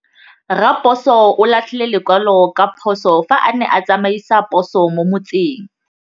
Raposo o latlhie lekwalô ka phosô fa a ne a tsamaisa poso mo motseng.